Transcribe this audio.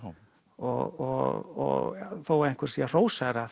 og þó einhver sé að hrósa